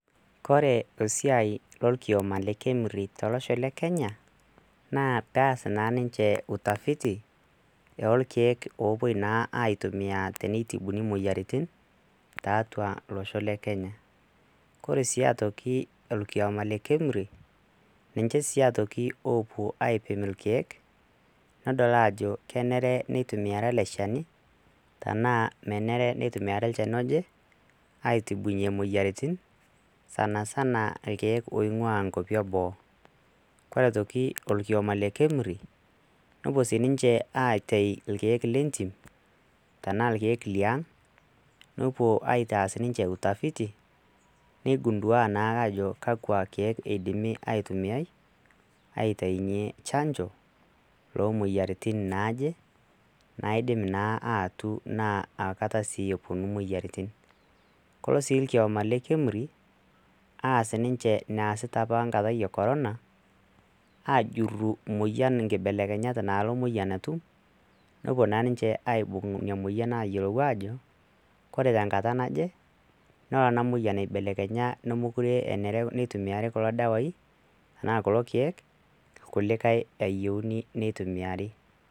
kore isiai lolkioma le KEMRI tolosho le kenya naa paas naa ninche utafiti eolkeek opuoi naaaitumia teneitibuni moyiaritin taatua losho le kenya kore sii atoki olkioma le KEMRI ninche sii atoki opuo aipim ilkeek nodol ajo kenere nitumiari ele shani tenaa menere nitumiari lchani oje aitibunyie moyiaritin sanasana ilkeek oing'ua inkuapi eboo kore aitoki olkioma le KEMRI nopuo sininche aitei ilkeek lentim tenaa ilkeek liang nopuo aitaas ninche utafiti neigundua naake ajo kakwa keek eidimi aitumia aiteinyie chanjo lomoyiaritin naaje naidim naa atu naa aakata sii eponu moyiaritin kolo sii ilkioma le KEMRI aas ninche naasita apa nkatai yie corona ajurru moyian inkibelekenyat nalo moyian atum nopuo naa ninche aibung inia moyian ayiolou ajo kore tenkata naje nolo ena moyian aibelekenya nomokure enere nitumiari kulo dawai tenaa kulo keek kulikae ayieuni nitumiari.